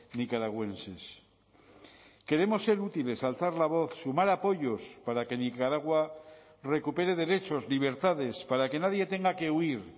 nicaragüenses queremos ser útiles alzar la voz sumar apoyos para que nicaragua recupere derechos libertades para que nadie tenga que huir